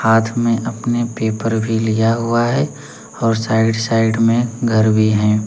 हाथ में अपने पेपर भी लिया हुआ है और साइड साइड में घर भी हैं।